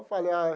Eu falei, ah,